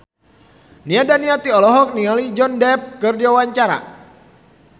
Nia Daniati olohok ningali Johnny Depp keur diwawancara